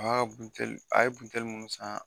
A y'a ka butɛli, je a ye butɛli minnu san